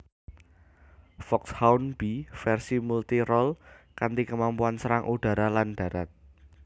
Foxhound B versi multi role kanti kemampuan serang udara lan darat